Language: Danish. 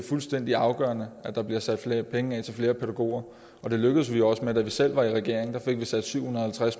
fuldstændig afgørende at der bliver sat flere penge af til flere pædagoger og det lykkedes vi også med da vi selv var i regering og fik sat syv hundrede